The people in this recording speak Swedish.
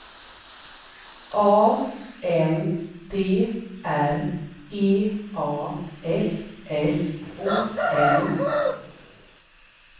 A N D R E A S S O N